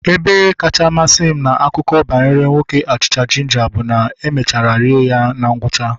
Ebe kacha masị m na akụkọ banyere nwoke achịcha jinja bụ na e mechara rie ya na ngwụcha